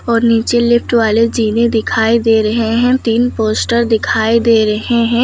और नीचे लिफ्ट वाले जीने दिखाई दे रहे हैं तीन पोस्टर दिखाई दे रहे हैं।